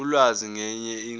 ulwazi ngaye siqu